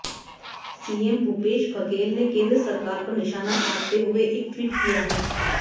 CM Bhupesh Baghel ने केंद्र सरकार पर निशाना साधते हुए एक ट्वीट किया है